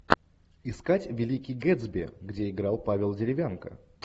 искать великий гэтсби где играл павел деревянко